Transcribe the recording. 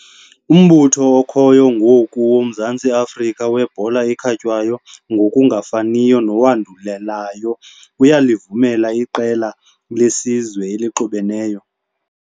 Umbutho okhoyo ngoku woMzantsi Afrika weBhola eKhatywayo, ngokungafaniyo nowandulelayo, uyalivumela iqela lesizwe elixubeneyo.